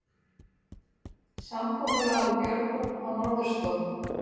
Samkomulag um björgun á norðurslóðum